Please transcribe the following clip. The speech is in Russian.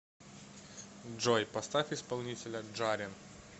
джой поставь исполнителя джарен